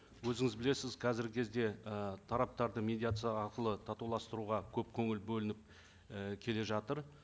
өзіңіз білесіз қазіргі кезде ы тараптарды медиация арқылы татуластыруға көп көңіл бөлініп і келе жатыр